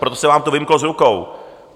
Proto se vám to vymklo z rukou.